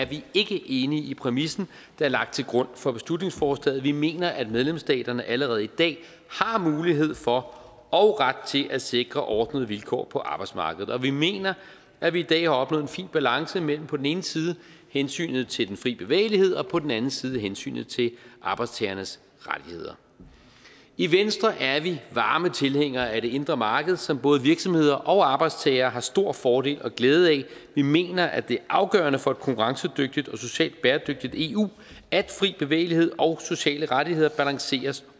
vi ikke enige i præmissen der er lagt til grund for beslutningsforslaget vi mener at medlemsstaterne allerede i dag har mulighed for og ret til at sikre ordnede vilkår på arbejdsmarkedet og vi mener at vi i dag har opnået en fin balance mellem på den ene side hensynet til den frie bevægelighed og på den anden side hensynet til arbejdstagernes rettigheder i venstre er vi varme tilhængere af det indre marked som både virksomheder og arbejdstagere har stor fordel og glæde af vi mener at det er afgørende for et konkurrencedygtigt og socialt bæredygtigt eu at fri bevægelighed og sociale rettigheder balanceres